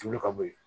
Tulu ka bɔ ye